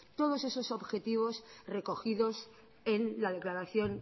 todos esos objetivos recogidos en la declaración